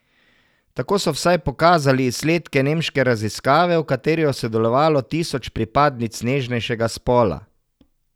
Tako so vsaj pokazali izsledki nemške raziskave, v kateri je sodelovalo tisoč pripadnic nežnejšega spola.